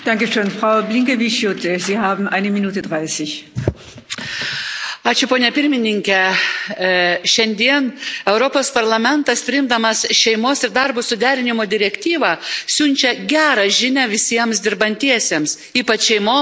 Šiandien Europos Parlamentas priimdamas šeimos ir darbo suderinimo direktyvą siunčia gerą žinią visiems dirbantiesiems, ypač šeimoms, auginančioms vaikus, prižiūrinčioms pagyvenusius ir sergančius šeimos narius.